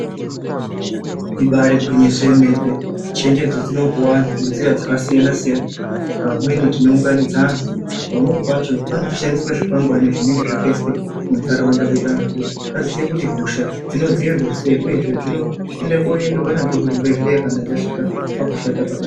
Ibari gwinyiso yemene. Chenjedzo dzinopuwa anhu nenzira dzakasiyana-siyana. Pamweni tinounganidza anhu, pamweni pacho panotoshandiswa zvikwangwani zvinenge zvakaiswe munharaunda kuti anhu aziye kuti hosha dzinodzivirirwa sei uyezve dzinoenda koendwa nazvo kuzvibhehleya kana dzasvika pakushata pakadini.